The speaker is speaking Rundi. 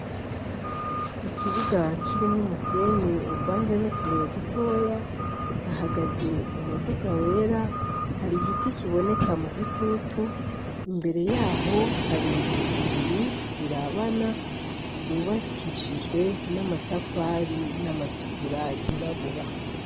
Ikibuga kirimwo umusenyi kivanze n'utubuye dutoya hahagaze umuduga wera hari igiti kiboneka mu gitutu, imbere yaho hari inzu zibiri zirabana zubakishijwe n'amatafari n'amatigura yirabura.